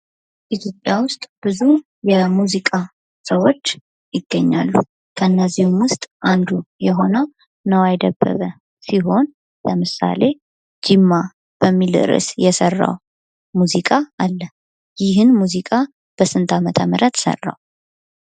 ኢትዮጵያ ውስጥ ብዙ የሙዚቃ ሰዎች ይገኛሉ። ከእነዚህም ውስጥ አንዱ የሆነው ነዋይ ደበበ ሲሆን ለምሳሌ ጅማ በሚል ርእስ የሰራው ሙዚቃ አለ። ይህን ሙዚቃ በስንት ዓመተ ምህረት ሰራው?